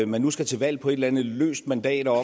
man nu skal til valg på et eller andet løst mandat og